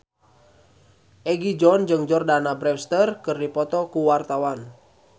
Egi John jeung Jordana Brewster keur dipoto ku wartawan